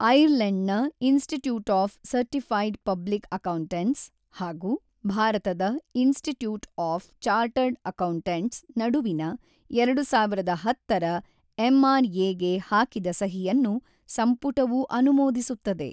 ಐರ್ಲೆಂಡ್ನ institute of certified public accountants ಹಾಗೂ ಭಾರತದ institute of chartered accountants ನಡುವಿನ ಎರಡು ಸಾವಿರದ ಹತ್ತರ ಎಂ.ಆರ್.ಎ ಗೆ ಹಾಕಿದ ಸಹಿಯನ್ನು ಸಂಪುಟವೂ ಅನುಮೋಧಿಸುತ್ತದೆ.